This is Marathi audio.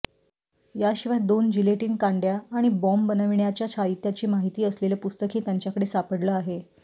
या शिवाय दोन जिलेटीन कांड्या आणि बॉम्ब बनविण्याच्या साहित्याची माहिती असलेलं पुस्तकही त्यांच्याकडे सापडलं आहे